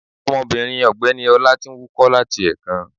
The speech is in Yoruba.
Omobìnrin ọ̀gbẹ́ni ọlá ti n wúkọ́ láti èkan